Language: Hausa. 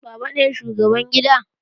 Baban ne shugaban gida?